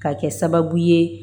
Ka kɛ sababu ye